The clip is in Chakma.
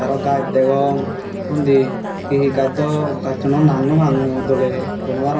aro gajch degong undi he he gaj do gajchuno nang nopang mui doley hoi no parongor.